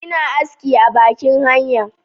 ina aski a bakin hanya